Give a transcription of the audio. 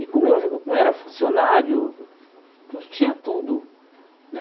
E como eu eu era funcionário, eu tinha tudo né.